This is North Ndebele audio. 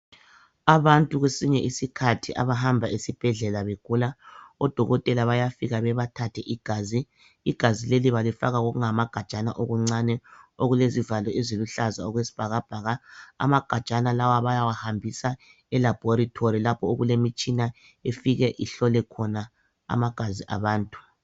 Abantu kwesinye isikhathi abahamba esibhedlela begula, odokotela bayafika bebathathe igazi. Igazi leli balifaka kokungamagajana okuncane, okulezivalo eziluhlaza okwesibhakabhaka. Amagajana lawa bayawahambisa e laboratory lapho okulemitshina efike ihlole khona amagazi abantu.